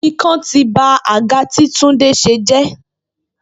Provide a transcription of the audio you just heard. Ikán tí ba àga tí Túndé se jé